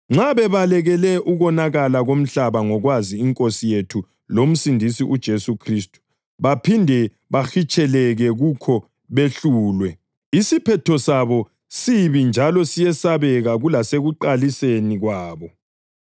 Nxa bebalekele ukonakala komhlaba ngokwazi iNkosi yethu loMsindisi uJesu Khristu baphinde bahitsheleke kukho behlulwe, isiphetho sabo sibi njalo siyesabeka kulasekuqaliseni kwabo.